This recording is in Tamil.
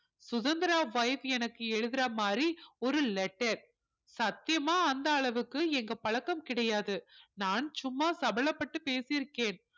சுதந்திரா wife எனக்கு எழுதுற மாதிரி ஒரு letter சத்தியமா அந்த அளவுக்கு எங்க பழக்கம் கிடையாது நான் சும்மா சபலப்பட்டு பேசி இருக்கேன்